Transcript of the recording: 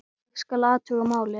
Ég skal athuga málið